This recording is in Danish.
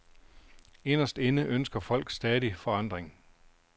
Inderst inde ønsker folk stadig forandring.